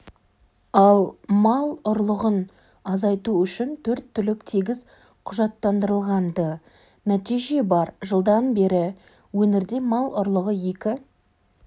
ал мал ұрлығын азайту үшін төрт-түлік тегіс құжаттандырылған-ды нәтиже бар жылдан бері өңірде мал ұрлығы екі